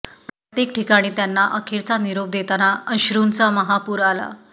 प्रत्येक ठिकाणी त्यांना अखेरचा निरोप देताना अश्रूंचा महापूर आला